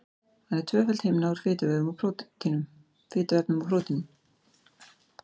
Hann er tvöföld himna úr fituefnum og prótínum.